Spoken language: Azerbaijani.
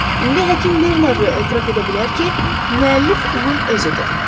İndi həkim Bernard etiraf edə bilər ki, müəllif onun özüdür.